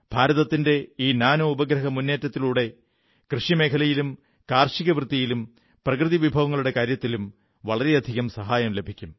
ഭാരതത്തിന്റെ ഈ നാനോ ഉപഗ്രഹ മുന്നേറ്റത്തിലൂടെ കാർഷികമേഖലയിലും കർഷകവൃത്തിയിലും പ്രകൃതി വിഭവങ്ങളുടെ കാര്യത്തിലും വളരെയധികം സഹായം ലഭിക്കും